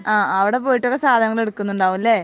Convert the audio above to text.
ആഹ് അവിടെ പോയിട്ടൊക്കെ സാധനങ്ങൾ എടുക്കുണ്ടാവും അല്ലെ